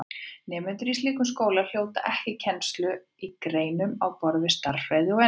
Nemendur í slíkum skólum hljóta ekki kennslu í greinum á borð við stærðfræði og ensku.